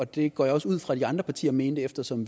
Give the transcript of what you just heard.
det går jeg også ud fra de andre partier mente eftersom